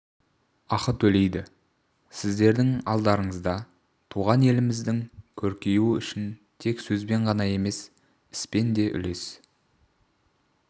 ақы төлейді сіздердің алдарыңызда туған еліңіздің көркеюі үшін тек сөзбен ғана емес іспен де үлес